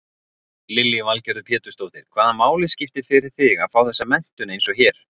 Lillý Valgerður Pétursdóttir: Hvaða máli skiptir fyrir þig að fá þessa menntun eins og hér?